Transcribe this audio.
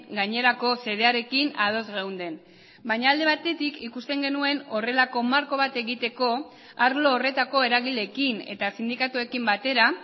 gainerako xedearekin ados geunden baina alde batetik ikusten genuen horrelako marko bat egiteko arlo horretako eragileekin eta sindikatuekin batera